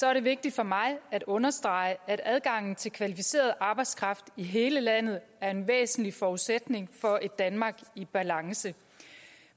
er det vigtigt for mig at understrege at adgangen til kvalificeret arbejdskraft i hele landet er en væsentlig forudsætning for et danmark i balance